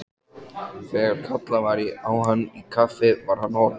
Þegar kallað var á hann í kaffi var hann horfinn.